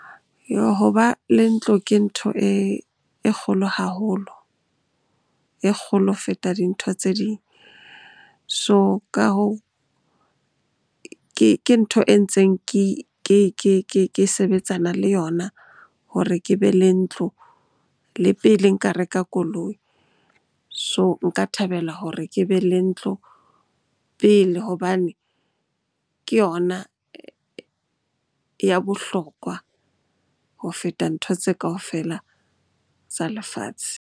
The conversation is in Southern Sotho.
Hoba le ntlo ke ntho e kgolo haholo, e kgolo ho feta dintho tse ding. So ka hoo, ke ntho e ntseng ke sebetsana le yona hore ke be le ntlo le pele nka reka koloi. So, nka thabela hore ke be le ntlo pele hobane ke yona ya bohlokwa ho feta ntho tse kaofela tsa lefatshe.